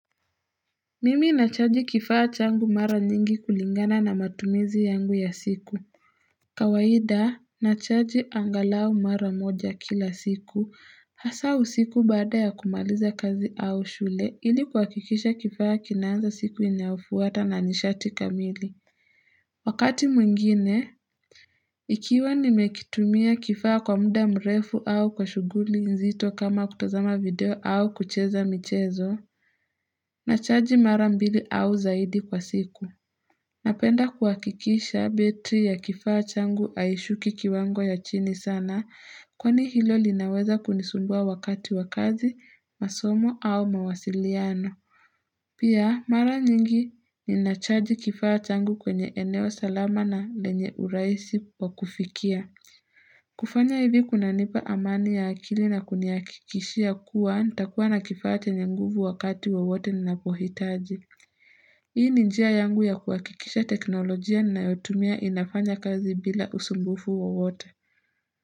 Mimi nachaji kifaa changu mara nyingi kulingana na matumizi yangu ya siku kawaida nachaji angalau mara moja kila siku hasa usiku baada ya kumaliza kazi au shule ili kuhakikisha kifaa kinanza siku inafuata na nishati kamili Wakati mwingine ikiwa nimekitumia kifaa kwa muda mrefu au kwa shuguli nzito kama kutazama video au kucheza michezo Nachaji marambili au zaidi kwa siku. Napenda kuhakikisha betri ya kifaa changu aishuki kiwango ya chini sana kwani hilo linaweza kunisumbua wakati wakazi, masomo au mawasiliano. Pia mara nyingi ni nachaji kifaa changu kwenye eneo salama na lenye uraisi wakufikia. Kufanya hivi kuna nipa amani ya akili na kuniakikishia kuwa ntakuwa na kifaa chenye nguvu wakati wowote ninapohitaji Hii ninjia yangu ya kuakikisha teknolojia ninayotumia inafanya kazi bila usumbufu wowote.